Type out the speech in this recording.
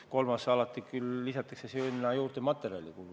Kolmandana lisatakse sinna küll alati juurde ka materjalikulu.